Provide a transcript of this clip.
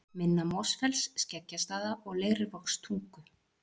Minna-Mosfells, Skeggjastaða og Leirvogstungu.